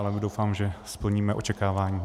Ale doufám, že splníme očekávání.